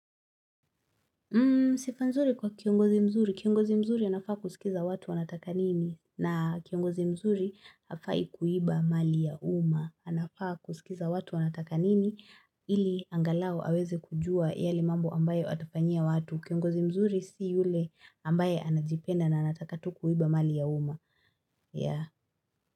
Sifa nzuri kwa kiongozi mzuri. Kiongozi mzuri anafaa kusikiza watu wanataka nini na kiongozi mzuri hafai kuiba mali ya umma. Anafaa kusikiza watu wanataka nini ili angalau aweze kujua yale mambo ambayo atafanyia watu. Kiongozi mzuri si yule ambaye anajipenda na anataka tu kuiba mali ya umma. Yeah.